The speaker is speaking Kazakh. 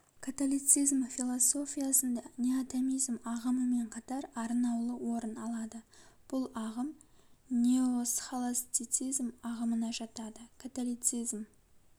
католицизм философиясында неотомизм ағымымен катар арнаулы орын алады бұл ағым неосхолостицизм ағымына жатады католицизм